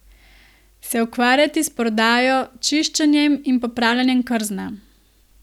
Se ukvarjati s prodajo, čiščenjem in popravljanjem krzna.